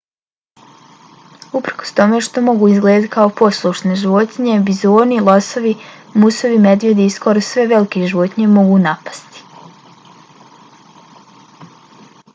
uprkos tome što mogu izgledati kao poslušne životinje bizoni losovi musovi medvjedi i skoro sve velike životinje mogu napasti